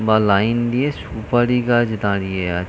বা লাইন দিয়ে সুপারি গাছ দাঁড়িয়ে আ--